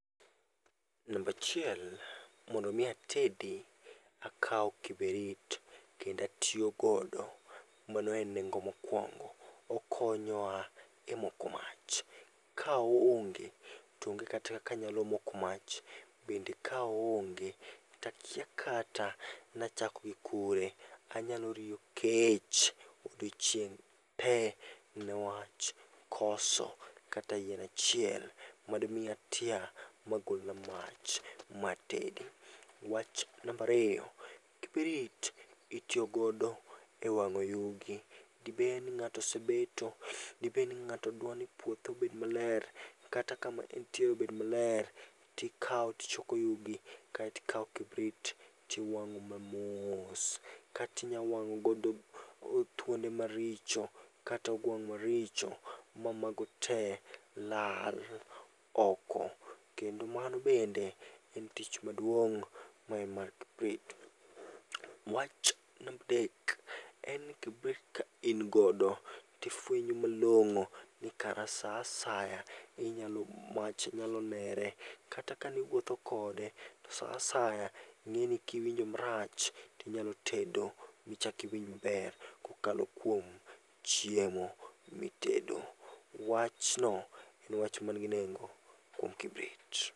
Namba achiel, mondo mi atedi, akawo kibirit kendo atiyo godo, mano en nengo mokuongo. Okonyoa e moko mach. Ka oonge to onge kata kaka anyalo moko mach, bende ka oonge to akia kata nachak gi kure. Anyalo riyo kech odiechieng' tee newach koso kata yien achiel madimi atia magol na mach, matedi. Wach namba ariyo, kibrit itiyo godo ewang'o yugi. Dibed ni ng'ato osebeto, dibed ni ng'ato dwa ni puothe obed maler, kata kama entie obed maler, tikawo tichoko yugi, kae to ikawo kibrit tiwang'o mamos. Kata inyalo wang'o godo thuonde maricho kata ogwang' mamago te lal oko. Kendo mano bende en tich maduong' maen mar kibrit. Wach namba adek en ni kibrit ka in godo tifuenyo malong'o ni kara saa asaya inyalo mach nyalo nere. Kata kaniwuotho kode to saa asaya ing'e ni kiwinjo marach tinyalo tedo michak iwinj maber kokalo kuom chiemo mitedo. Wachno en wach man gi nengo kuom kibrit.